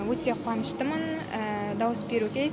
өте қуаныштымын дауыс беруге